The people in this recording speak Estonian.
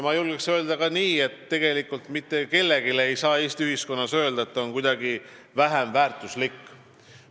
Ma julgen ka seda väita, et tegelikult ei saa mitte kellelegi Eesti ühiskonnas öelda, et ta on kuidagi vähem väärtuslik.